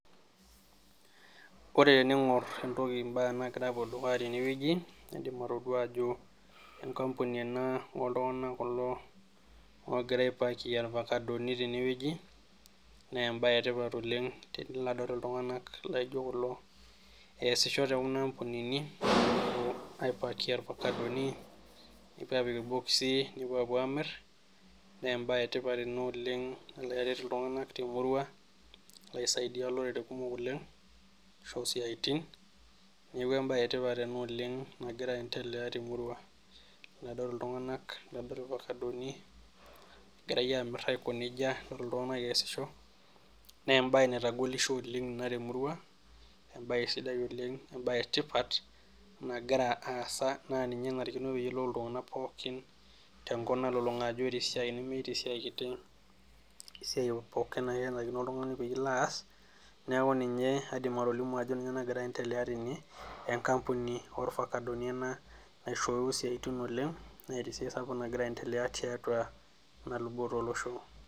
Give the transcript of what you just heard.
Ore tening'or embaye naagira apuo dukuya tenewueji naa indiim atodua ajo enkambuni ena ooltung'anak kulo oogira aipakie irfakadoni tenewueji naa embaye etipat oleng tenilo adol iltung'anak laijio kulo eesisho tenkuna ampunini egira aaipakia irfakadoni nepuo aapik irbokizi nepuo aamir naa embae etipat ina oleng nalo aret iltung'anak temurua ashu aisaidia olerere oleng asho isiatin neeku embaye etipat ena oleng nagira endelea temurua adol iltung'anak nadol irfakadoni egirai aamir aiko nejia adol iltung'anak eesisho naa embae naitagolisho oleng ina temurua embae sidai oleng embae etipat nagira aasa naa ninye enarikino peeyiolou iltung'anak pookin tenakop. ajo ore esiai meetai esiai kiti ore esiai pookin naa kenarikino. oltung'ani pilo aas neeku ninye aidip atolimu ajo ninye nagira aasa tene enkambuni oorfakadoni ena naishooyo isiatin oleng naa ninye esiai sapuk nagira aendelea tiatua ena luboto olosho.